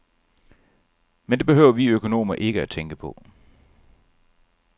Men det behøver vi økonomer ikke tænke på.